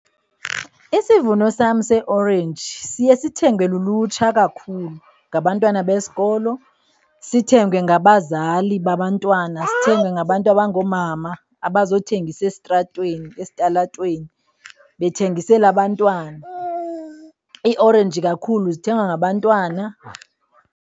Isivuno sam seeorenji siye sithengwe lulutsha kakhulu, ngabantwana besikol,o sithengwe ngabazali babantwana zithengwe ngabantu abangoomama bazothengisa esitratweni, esitalatweni bethengisele abantwana. Iiorenji kakhulu zithengwa ngabantwana.